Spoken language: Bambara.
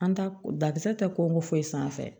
An ta dakisɛ tɛ ko foyi sanfɛ